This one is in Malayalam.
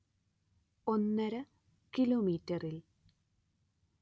ഒന്നര കിലോമീറ്ററിൽ